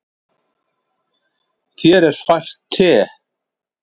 Þér er fært te.